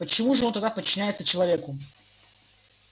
почему же он тогда подчиняется человеку